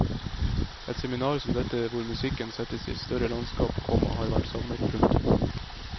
Et seminar som dette hvor musikken settes i et større landskap, komma har vært savnet. punktum